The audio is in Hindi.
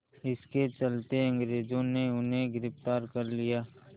इसके चलते अंग्रेज़ों ने उन्हें गिरफ़्तार कर लिया